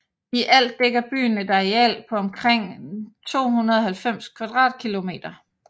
I alt dækker byen et areal på omkring 290 km²